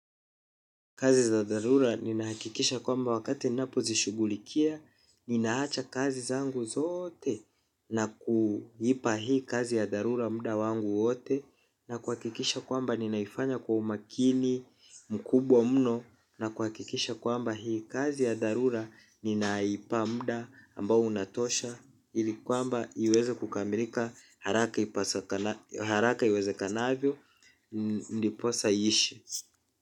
Kazi za dharura ninahakikisha kwamba wakati ninapo zishughulikia, ninaacha kazi zangu zote na kuipa hii kazi ya dharura muda wangu wote. Na kuhakikisha kwamba ninaifanya kwa umakini mkubwa mno na kuhakikisha kwamba hii kazi ya dharura ninaipa muda ambao unatosha ili kwamba iweza kukamilika haraka iwezekanavyo, ndiposa iishe.